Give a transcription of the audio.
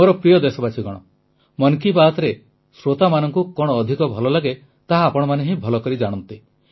ମୋର ପ୍ରିୟ ଦେଶବାସୀଗଣ ମନ୍ କି ବାତ୍ରେ ଶ୍ରୋତାମାନଙ୍କୁ କଣ ଅଧିକ ଭଲ ଲାଗେ ତାହା ଆପଣମାନେ ହିଁ ଭଲକରି ଜାଣନ୍ତି